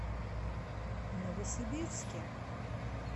новосибирске